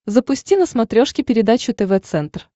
запусти на смотрешке передачу тв центр